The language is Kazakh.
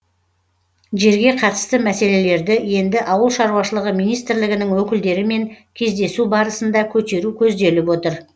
жерге қатысты мәселелерді енді ауыл шаруашылығы министрлігінің өкілдерімен кездесу барысында көтеру көзделіп отыр